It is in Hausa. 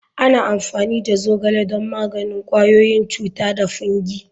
Ana amfani da zogale don magance ƙwayoyin cuta da fungi.